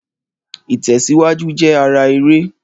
Ìtẹ̀síwájú jẹ́ ara eré